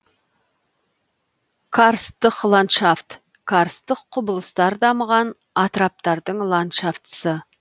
карсттық ландшафт карсттық құбылыстар дамыған атыраптардың ландшафтысы